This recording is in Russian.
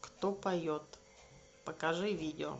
кто поет покажи видео